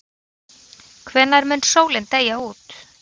Hvenær mun sólin deyja út?